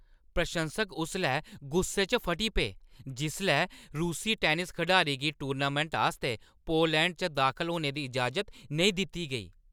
प्रशंसक उसलै गुस्से च फटी पे जिसलै रूसी टैनिस खडारी गी टूर्नामैंट आस्तै पोलैंड च दाखल होने दी इजाज़त नेईं दित्ती गेई।